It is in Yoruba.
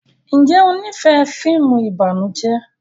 Njé o n'ifẹ fíìmù ìbànújẹ?